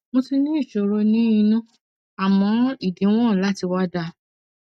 mo ti ní ìṣòro ní inú àmọ ìdíwọn láti wà dà